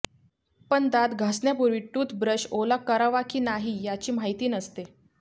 पण दात घासण्यापूर्वी टूथब्रश ओला करावा की नाही याची माहिती नसते